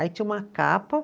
Aí tinha uma capa.